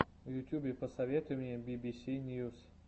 в ютьюбе посоветуй мне би би си ньюс